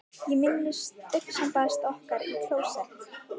Ég minnist augnsambands okkar í klósett